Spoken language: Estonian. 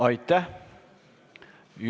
Aitäh!